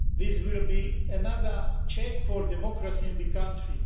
This will be another check on democracy in the country.